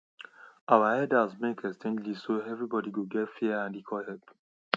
our elders make exchange list so everybody go get fair and equal help